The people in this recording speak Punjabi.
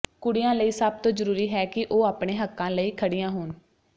ਕੁੜੀਆਂ ਲਈ ਸਭ ਤੋਂ ਜ਼ਰੂਰੀ ਹੈ ਕਿ ਉਹ ਆਪਣੇ ਹੱਕਾਂ ਲਈ ਖੜੀਆਂ ਹੋਣ